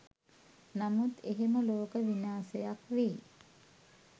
නමුත් එහෙම ලෝක විනාශයක් වෙයි